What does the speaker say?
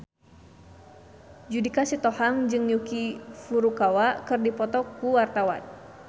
Judika Sitohang jeung Yuki Furukawa keur dipoto ku wartawan